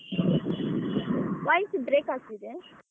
Voice break ಆಗ್ತಿದೆ.